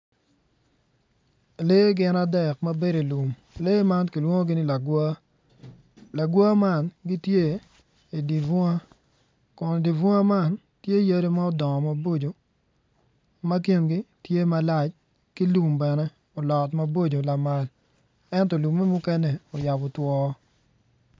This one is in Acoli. Lee gin adek ma bedo i lum lee man kilwongogi ni lagwar, lagwar man gitye idye bunga kun dye bunga man tye yadi ma odongo maboco ma kingi tye malac ki lum bene olot maboco lamal ento lume mukene oyabo two.